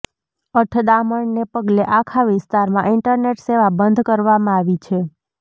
અથડામણને પગલે આખા વિસ્તારમાં ઈન્ટરનેટ સેવા બંધ કરવામાં આવી છે